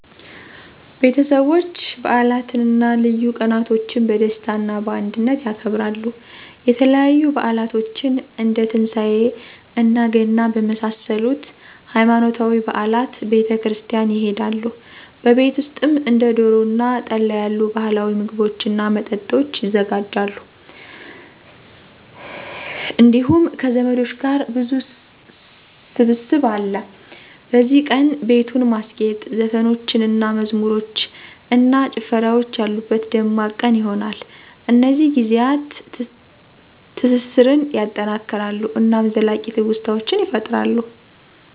ቤተሰቦች በዓላትን እና ልዩ ቀናቶችን በደስታ እና በአንድነት ያከብራሉ። የተለያዩ በዓላቶችን እንደ ትንሳኤ እና ገና በመሳሰሉት ሃይማኖታዊ በዓላት ቤተ ክርስቲያን ይሆዳሉ። በቤት ውሰጥም እንደ ዶሮ እና ጠላ ያሉ ባህላዊ ምግቦችን እና መጠጦች ይዘጋጃሉ እንዲሁም ከዘመዶች ጋር ብዙ ሰብሰብ አለ። በዚህ ቀን, ቤቱን ማስጌጥ, ዘፈኖችን እና መዝሙሮች እና ጨፍራወች ያሉበት ደማቅ ቀን ይሆነል። እነዚህ ጊዜያት ትስሰራን ያጠናክራሉ እናም ዘላቂ ትውስታዎችን ይፈጥራሉ።